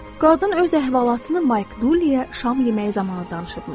Qadın öz əhvalatını Mike Dulleyə şam yeməyi zamanı danışmışdı.